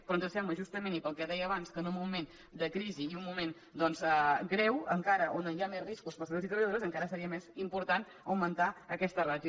però ens sembla justament i pel que deia abans que en un moment de crisi i un moment greu on hi ha més riscos per als treballadors i treballadores encara seria més important augmentar aquesta ràtio